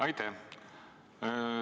Aitäh!